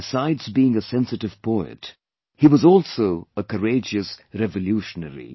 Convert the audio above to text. Besides being a sensitive poet, he was also a courageous revolutionary